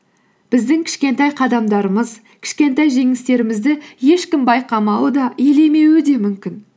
біздің кішкентай қадамдарымыз кішкентай жеңістерімізді ешкім байқамауы да елемеуі де мүмкін